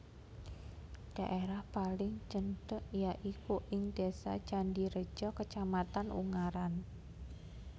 Dhaérah paling cendhèk ya iku ing Désa Candireja Kacamatan Ungaran